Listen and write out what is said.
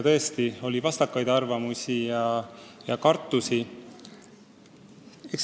Tõesti, oli vastakaid arvamusi ja kartusi.